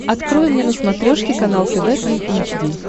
открой мне на смотрешке канал тв три эйч ди